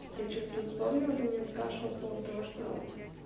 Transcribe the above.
я что-то тут вспомнила ты меня спрашивал по поводу того что